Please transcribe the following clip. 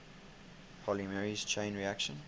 polymerase chain reaction